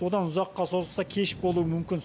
одан ұзаққа созылса кеш болуы мүмкін